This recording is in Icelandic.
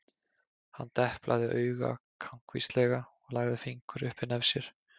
Hann deplaði auga kankvíslega og lagði fingur upp við nef sér.